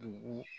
Dugu